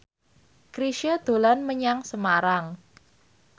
Chrisye dolan menyang Semarang